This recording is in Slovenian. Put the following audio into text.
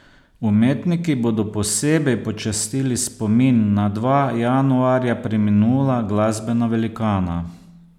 Umetniki bodo posebej počastili spomin na dva januarja preminula glasbena velikana.